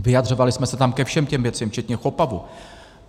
Vyjadřovali jsme se tam ke všem těm věcem včetně CHOPAV.